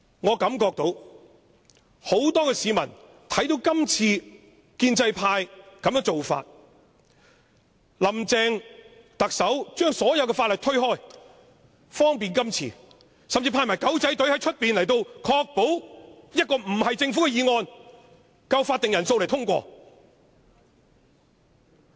我感覺到很多市民看到今次建制派的做法，看到林鄭特首不提交任何法案以方便今次的審議，甚至派出"狗仔隊"在外面，確保這項不是政府的議案也會有足夠法定人數通過。